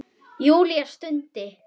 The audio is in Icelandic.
Júlía stundi.